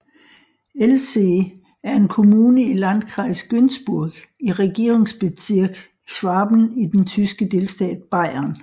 Ellzee er en kommune i Landkreis Günzburg i Regierungsbezirk Schwaben i den tyske delstat Bayern